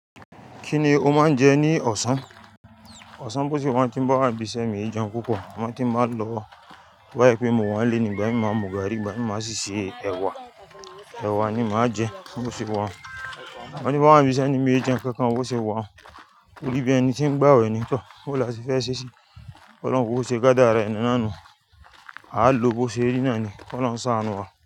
Kíni ó máa ń jẹ ní ọ̀sán? Ọ̀sán bó ṣe wá, tí n bá wà níbí isé mi, mì jẹun púpọ̀. Sugbon tí n ba ń lọ bá yẹ pé mo wà léèní, gbá è mi máa mu gàárì, gbá è mi máa sì se ẹ̀wà. Ẹ̀wà ni màá jẹ bó ṣe wá. Sugbon bi n ba wà níbí isé ni mí ó jẹun kankan bó ṣe wá. Ó wí bí ẹni tí ń gbawẹ̀ ní ìtọ̀. Bo láti fẹ́ ṣè si. Ọlọ́run bó ṣe kádàára ẹni náà ni. A á lo bó ṣe rí náà ni. Ólóhuń ṣàánú wa.